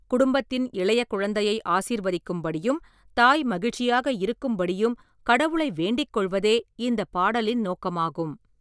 குடும்பத்தின் இளைய குழந்தையை ஆசிர்வதிக்கும்படியும், தாய் மகிழ்ச்சியாக இருக்கும்படியும் கடவுளை வேண்டிக் கொள்வதே இந்தப் பாடலின் நோக்கமாகும்.